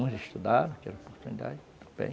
Uns estudaram, tiveram oportunidade, estão bem.